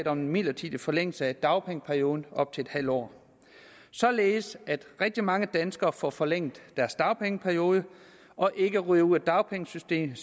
om en midlertidig forlængelse af dagpengeperioden op til en halv år således at rigtig mange danskere får forlænget deres dagpengeperiode og ikke ryger ud af dagpengesystemet